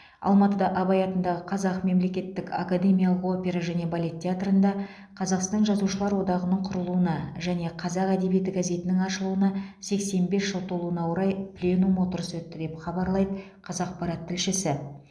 алматыда абай атындағы қазақ мемлекеттік академиялық опера және балет театрында қазақстан жазушылар одағының құрылуына және қазақ әдебиеті газетінің ашылуына сексен бес жыл толуына орай пленум отырысы өтті деп хабарлайды қазақпарат тілшісі